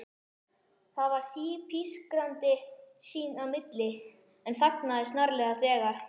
Það var sí-pískrandi sín á milli, en þagnaði snarlega þegar